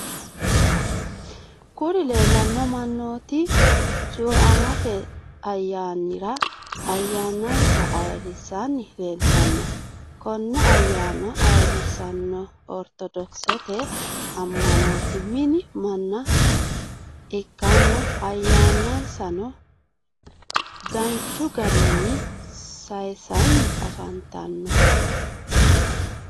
Kuri lelano manoti cuamamte ayanira ayanaisa ayirisani lelitano. Kone ayanano ayirisanori orithodosete amanote mini manna ikana ayanisano danichu garinni saisanni affanitano.